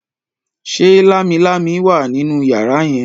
ṣe Lámilámi wá nínú yàrá yen?